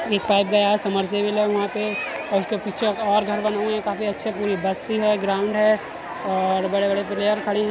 एक पाईप गया है। समरसेबिल है वहां पे और उसके पीछे और घर बने हुए हैं। काफी अच्छे पूरी बस्ती है ग्राउंड है और बड़े-बड़े प्लेयर खड़े हैं।